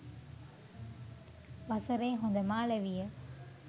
වසරේ හොඳම අලෙවිය